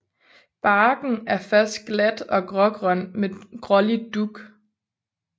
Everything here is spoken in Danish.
Barken er først glat og grågrøn med grålig dug